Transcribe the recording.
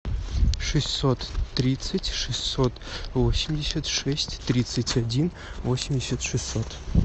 шестьсот тридцать шестьсот восемьдесят шесть тридцать один восемьдесят шестьсот